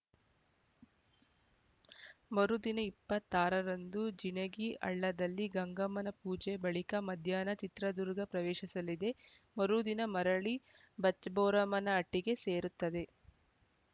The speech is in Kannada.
ಮರುದಿನ ಇಪ್ಪತ್ತ್ ಆರರಂದು ಜಿನಗಿ ಹಳ್ಳದಲ್ಲಿ ಗಂಗಮ್ಮನ ಪೂಜೆ ಬಳಿಕ ಮಧ್ಯಾಹ್ನ ಚಿತ್ರದುರ್ಗ ಪ್ರವೇಶಿಸಲಿದೆ ಮರುದಿನ ಮರಳಿ ಬಚ್ಚಬೋರಮ್ಮನ ಹಟ್ಟಿಗೆ ಸೇರುತ್ತದೆ